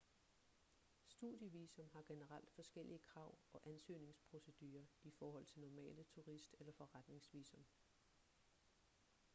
studievisum har generelt forskellige krav og ansøgningsprocedurer i forhold til normale turist- eller forretningsvisum